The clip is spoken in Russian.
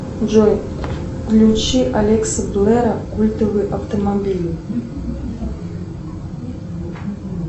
джой включи алекса блэра культовые автомобили